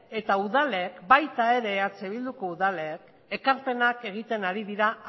eta udalek baita ere eh bilduko udalek ekarpenak egiten ari dira